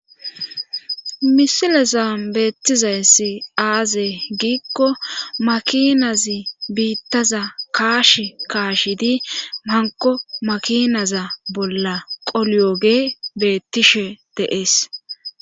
misilesa beettizayssi aazey giikko makinazi biittaza kaash kaashi di manko makinaza bolla qoliyogee beettishe deees